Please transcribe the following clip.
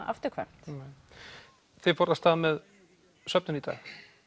afturkvæmt nei þið fóruð af stað með söfnun í dag